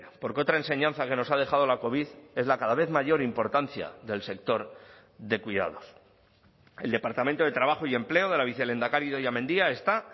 porque otra enseñanza que nos ha dejado la covid es la cada vez mayor importancia del sector de cuidados el departamento de trabajo y empleo de la vicelehendakari idoia mendia está